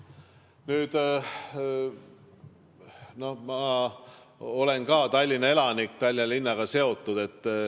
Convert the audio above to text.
Ma olen ka Tallinna elanik, Tallinna linnaga seotud.